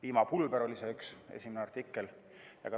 Piimapulber oli üks esimesi artikleid.